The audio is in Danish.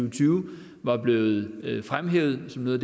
og tyve var blevet fremhævet som noget